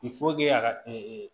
a ka